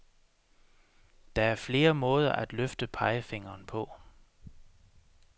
Der er flere måder at løfte pegefingeren på.